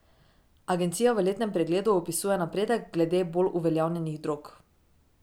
Agencija v letnem pregledu opisuje napredek glede bolj uveljavljenih drog.